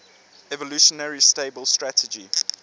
evolutionarily stable strategy